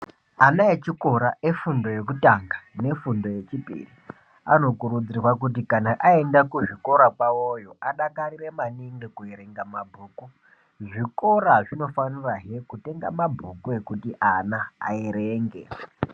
Ana echikora eifundo yekutanga nefundo yechipiri anokurudzirwa maningi kuti kana aenda kuzvikora kwavoyo adakarire maningi kuerenga mabhuku zvikora zvinofanirahe kutenga mabhuku ekuti ana aerenge.